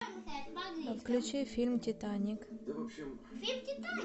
включи фильм титаник